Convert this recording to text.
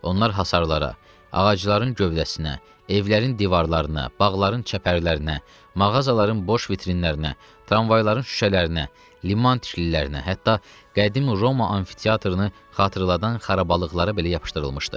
Onlar hasarlara, ağacların gövdəsinə, evlərin divarlarına, bağların çəpərlərinə, mağazaların boş vitrinlərinə, tramvayların şüşələrinə, liman tişilərinə, hətta qədim Roma amfiteatrını xatırladan xarabalıqlara belə yapışdırılmışdı.